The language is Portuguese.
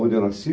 Onde eu nasci?